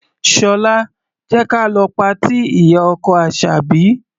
Ṣọlá, jẹ́ ka lọ patí ìyá-ọkọ Àṣàbí.